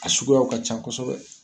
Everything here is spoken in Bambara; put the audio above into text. A sukuyaw ka ca kɔsɔbɛ.